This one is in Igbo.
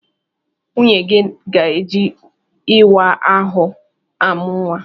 Nwunyegi ga-eji ịwa ahụ amụ nwa.